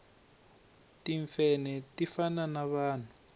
timfenhe ti fana na vanhu